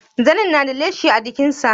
Zanin na da leshi a jikin sa?